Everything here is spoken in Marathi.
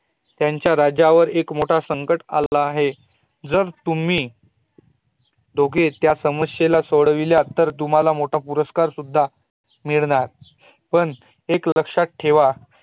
त्यांच्या राज्यावर एक मोठा संकट आला आहे, जर तुम्ही दोघे त्या समस्ये ला सोडविलात तर तुम्हाला मोठ पुरस्कार सुद्धा मिळू शकणार पण एक लक्षात ठेवा